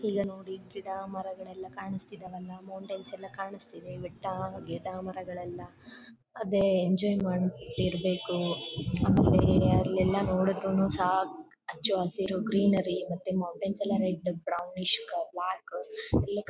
ಈಗ ನೋಡಿ ಗಿಡ ಮರಗಳೆಲ್ಲ ಕಾನಿಸ್ತಾಇದೆವಲ್ಲ ಮೌಂಟನ್ ಕಾಣಿಸ್ತಾಇದೆ ಬೆಟ್ಟ ಗಿಡ ಮರಗಳೆಲ್ಲಅದೇ ಎಂಜಾಯ್ ಮಾಡ್ತಾ ಇರ್ಬೇಕು ಬೇರೆ ಅಲ್ಲೆಲ್ಲ ನೋಡಿದ್ರು ನು ಸಹ ಹಚ್ಚಹಸಿರು ಇರೋ ಗ್ರೀನರಿ ಮತ್ತೆ ಮೌಂಟೈನ್ಸ್ ಎಲ್ಲ ರೆಡ್ ಬ್ರೌನಿಷ್ ಬ್ಲಾಕ್ --